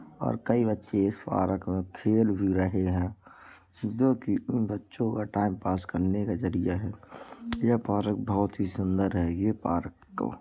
और कई बच्चे इस पार्क में खेल भी रहे हैं जो की उन बच्चों के टाइमपास करने का जरिया है यह ये पार्क बहुत ही सुन्दर है ये पार्क --